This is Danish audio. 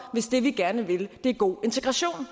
hvis det vi gerne vil er god integration